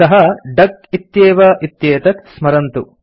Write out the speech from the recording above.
सः डक इत्येव इत्येतत् स्मरन्तु